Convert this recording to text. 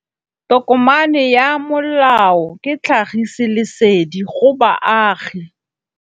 Tokomane ya molao ke tlhagisi lesedi go baagi.